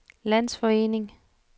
landsforening